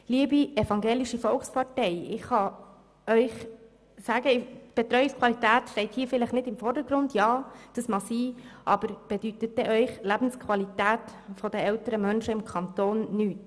Liebe Evangelische Volkspartei, ich kann Ihnen sagen, dass die Betreuungsqualität zwar vielleicht nicht im Vordergrund steht, aber bedeutet Ihnen die Lebensqualität der älteren Menschen im Kanton Bern nichts?